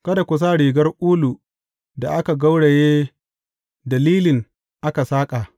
Kada ku sa rigar ulu da aka gauraye da lilin aka saƙa.